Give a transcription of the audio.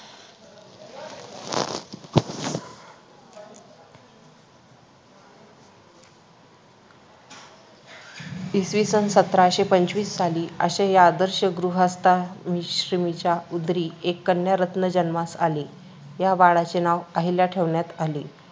इसवीसन सतराशे पंचवीस साली अशा या आदर्श गृहस्थाश्रमींच्या उदरी एक कन्यारत्न जन्मास आली. या बाळाचे नाव अहिल्या ठेवण्यात आली.